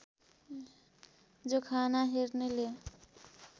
जोखाना हेर्नेले